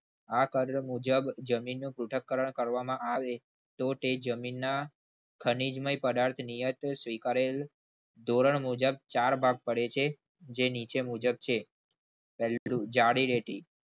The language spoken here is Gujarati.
આ કણ મુજબ જમીનનું ત્રુટક કરણ કરવામાં આવે તો તે જમીનના ખનીજમય પદાર્થ નિયત ધોરણ મુજબ ચાર ભાગ પડે છે જે નીચે મુજબ છે પહેલું જાડી રેતી